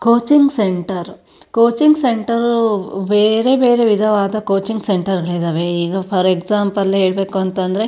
Coaching centre coaching centre ಬೇರೆಬೇರೆ ವಿಧವಾದ coaching centre ಗಳಿದವೆ ಈಗ ಫಾರ್ ಎಕ್ಸಾಮ್ ಪಲ್ ಹೇಳಬೇಕಂದ್ರೆ.